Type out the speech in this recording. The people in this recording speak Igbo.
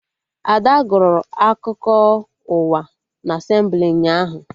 Ada gụrụ akụkọ ụwa na Asemblị ụnyaahụ